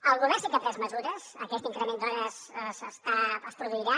el govern sí que ha pres mesures aquest increment d’hores es produirà